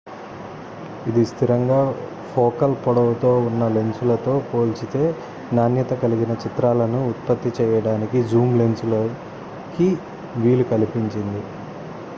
ఇది స్థిరంగా ఫోకల్ పొడవుతో ఉన్న లెన్సులతో పోల్చితే నాణ్యత కలిగిన చిత్రాలను ఉత్పత్తి చేయడానికి జూమ్ లెన్సులు కి వీలు కల్పించింది